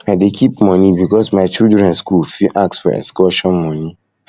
i dey keep moni because my children skool fit ask for excursion moni